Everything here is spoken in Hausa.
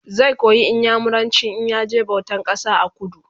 zai koyi inyamuranci in ya je bautan kasa a kudu